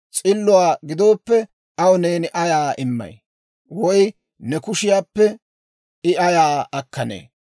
S'illuwaa gidooppe, aw neeni ayaa immay? Woy ne kushiyaappe I ayaa akkanee?